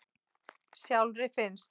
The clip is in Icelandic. Sjálfri finnst